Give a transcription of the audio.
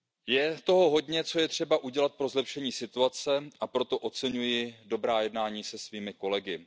Je toho hodně, co je třeba udělat pro zlepšení situace, a proto oceňuji dobrá jednání se svými